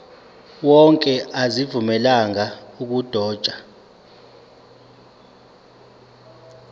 wonke azivunyelwanga ukudotshwa